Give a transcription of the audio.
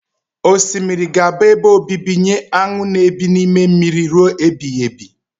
Osimiri ga-abụ ebe obibi nye aṅụ na ebi n'ime mmiri rue ebighibi